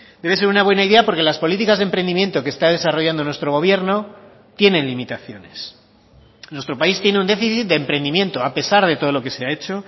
debe ser una buena idea porque las políticas de emprendimiento que está desarrollando nuestro gobierno tienen limitaciones nuestro país tiene un déficit de emprendimiento a pesar de todo lo que se ha hecho